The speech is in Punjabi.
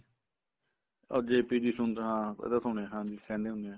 JPEG ਸੁਣਦਾ ਆ ਇਹ ਤਾਂ ਸੁਣਿਆ ਹਾਂ ਜੀ ਕਹਿੰਦੇ ਹੁਣੇ ਆ